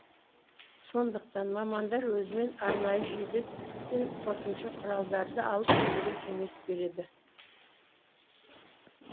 сондықтан мамандар өзімен арнайы жилет пен қосымша құралдарды алып жүруге кеңес береді